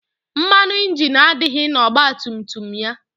Mmanụ ịnjini adịghị n' ọgbatumtum ya.